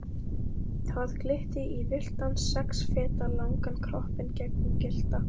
Það glitti í villtan sex feta langan kroppinn gegnum gyllta